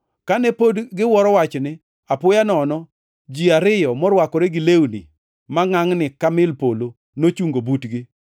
Kane pod giwuoro wachni, apoyo nono ji ariyo morwakore gi lewni mangʼangʼni ka mil polo nochungo butgi.